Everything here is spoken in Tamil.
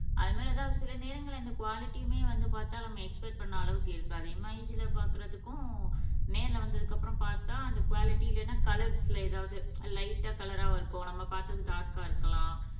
அது மாதிரி தான் சில நேரங்கள்ல இந்த குவாலிட்டியுமே வந்து பாத்தா நம்ம எக்ஸ்பெக்ட் பண்ண அளவுக்கு இருக்காது இமேஜ்ல பாக்குறதுக்கும் நேருல வந்ததுக்கு அப்புறம் பாத்தா அந்த குவாலிட்டி இல்லனா கலர்ஸ்ல எதாவது லைட்டா கலரா இருக்கும் நம்ம பாத்தது டார்க்கா இருக்கலாம்